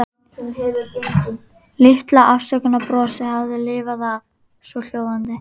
Litla afsökunarbrosið hafði lifað af, svohljóðandi